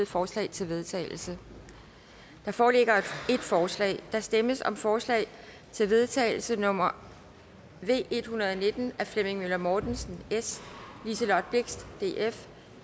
forslag til vedtagelse der foreligger et forslag der stemmes om forslag til vedtagelse nummer v en hundrede og nitten af flemming møller mortensen liselott blixt